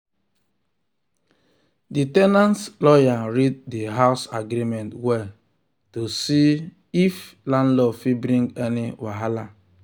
the ten ant lawyer read the house agreement well to see um if um landlord fit bring any wahala.